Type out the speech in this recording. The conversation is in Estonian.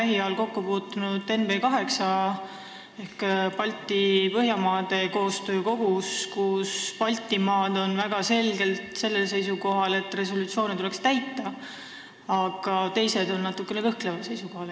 Mina kogesin seda NB8 ehk Põhja- ja Baltimaade koostöö kogus, kus Baltimaad on väga selgelt seisukohal, et resolutsioone tuleks täita, aga teised on natukene kõhkleval seisukohal.